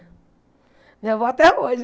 Minha avó até hoje.